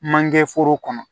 Mankɛ foro kɔnɔ